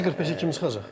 Birinci 45-ə kim çıxacaq?